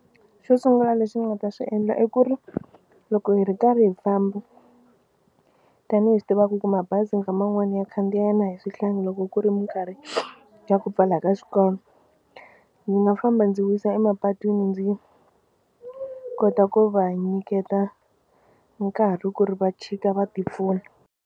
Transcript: Xo sungula lexi ni nga ta xi endla i ku ri loko hi ri karhi hi famba tanihi swi tiva ku mabazi nkama wun'wani ya khandziya na hi swihlangi loko ku ri minkarhi xa ku pfala ka swikolo ndzi nga famba ndzi wisa emapatwini ndzi kota ku va nyiketa nkarhi ku ri va chika va tipfuna.